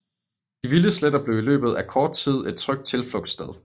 De Vilde Sletter blev i løbet af kort tid et trygt tilflugtssted